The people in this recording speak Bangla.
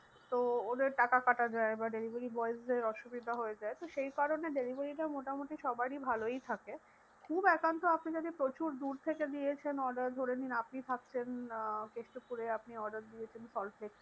তো ওদের টাকা কাটা যায়। এবার delivery boys দের অসুবিধা হয়ে যায় তো সেই কারণে delivery টা মোটামুটি সবারই ভালোই থাকে। খুব একান্ত আপনি যদি প্রচুর দূর থেকে দিয়েছেন order ধরেনিন আপনি থাকছেন আহ কেষ্টপুরে আপনি order দিয়েছেন সল্টলেক থেকে~